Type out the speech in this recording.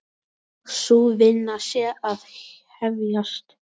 Sú vinna sé að hefjast.